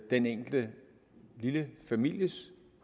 den enkelte lille families